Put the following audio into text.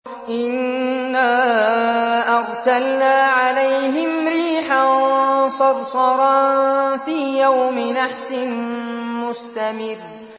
إِنَّا أَرْسَلْنَا عَلَيْهِمْ رِيحًا صَرْصَرًا فِي يَوْمِ نَحْسٍ مُّسْتَمِرٍّ